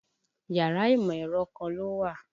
Yàrá ìmọ̀-ẹ̀rọ kan ló wà.